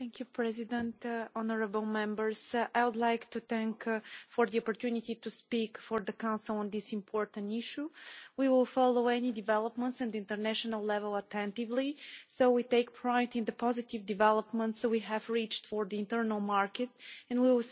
Mr President, honourable Members, thank you for the opportunity to speak for the Council on this important issue. We will follow any developments at international level attentively, so we take pride in the positive developments we have reached for the internal market and we will